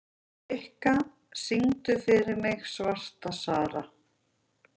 Rikka, syngdu fyrir mig „Svarta Sara“.